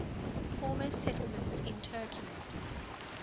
former settlements in turkey